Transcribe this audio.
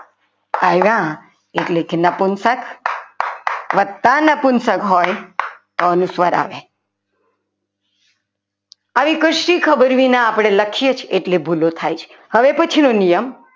આવ્યા એટલે કે નપુંસક વધતા નપુંસક હોય તો અનુસ્વાર આવે આવી કશી ખબર વિના આપણે લખીએ છીએ એટલે ભૂલો થાય છે હવે પછીનો નિયમ